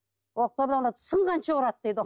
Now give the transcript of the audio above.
оқтаумен ұрады сынғанша ұрады